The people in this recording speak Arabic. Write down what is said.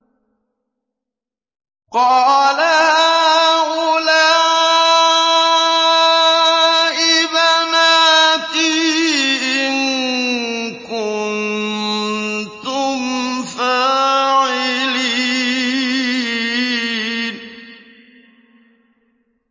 قَالَ هَٰؤُلَاءِ بَنَاتِي إِن كُنتُمْ فَاعِلِينَ